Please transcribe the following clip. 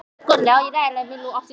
ÉG ræð EKKI þú.